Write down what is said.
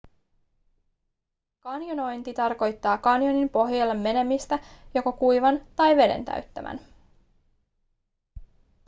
kanjonointi tarkoittaa kanjonin pohjalle menemistä joko kuivan tai veden täyttämän